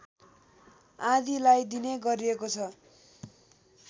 आदिलाई दिने गरिएको छ